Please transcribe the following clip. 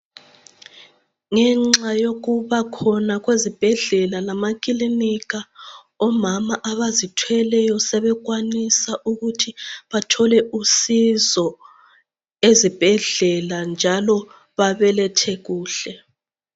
Ngenxa yokubakhona kwezibhedlela lamakilinika omama abazithweleyo sebekwanisa ukuthi bathole usizo ezibhedlela njalo babelethe kuhle.